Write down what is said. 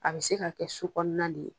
A be se ka kɛ su kɔnɔna de ye